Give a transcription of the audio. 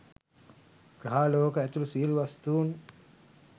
ග්‍රහලෝක ඇතුළු සියළු වස්තූන්